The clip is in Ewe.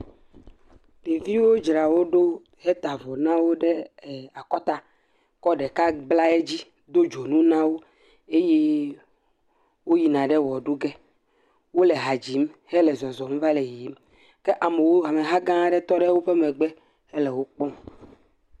Ɖeviwo dzra wo ɖo, heta avɔ na wo ɖe akɔta, kɔ ɖeka bla edzi, do dzonu na wo, eye woyina ɖe wɔ ɖu ge, wole ha dzim, hele zɔzɔm va le yiyimke, ameha gã aɖe tɔ ɖe woƒe megbe hele wo kpɔm.